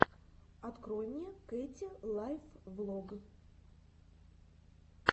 открой мне кэти лайф влог